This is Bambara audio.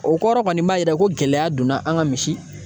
O kɔrɔ kɔni b'a yira ko gɛlɛya donna an ka misi